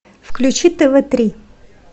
включи тв три